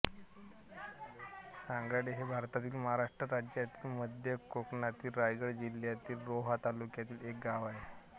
सांगडे हे भारतातील महाराष्ट्र राज्यातील मध्य कोकणातील रायगड जिल्ह्यातील रोहा तालुक्यातील एक गाव आहे